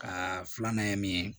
Ka filanan ye min ye